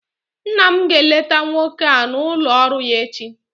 Nna m ga-eleta nwoke a n'ụlọ ọrụ ya echi